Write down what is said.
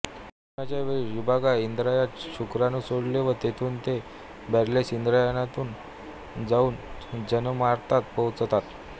मैथुनाच्या वेळी नर रिबागा इंद्रियात शुक्राणू सोडतो व तेथून ते बर्लेस इंद्रियातून जाऊन जननमार्गात पोहोचतात